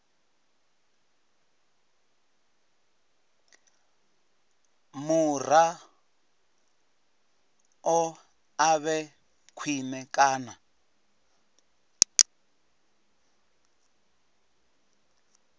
muraḓo a vhe khwine kana